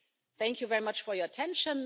Thank you very much for your attention.